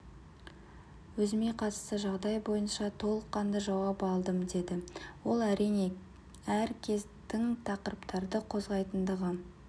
өзіме қатысты жағдай бойынша толыққанды жауап алдым деді ол әрине әр кез тың тақырыптарды қозғайтындығы